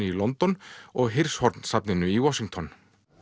í London og safninu í Washington